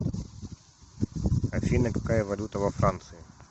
афина какая валюта во франции